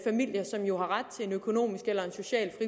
familier som jo har ret til en økonomisk eller social